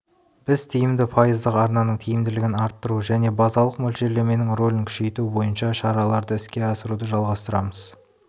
біз тиімді пайыздық арнаның тиімділігін арттыру және базалық мөлшерлеменің рөлін күшейту бойынша шараларды іске асыруды жалғастырамыз